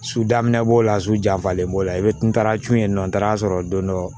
Su daminɛ b'o la su janfalen b'o la i bɛ ntarun yen nɔ n taara a sɔrɔ don dɔ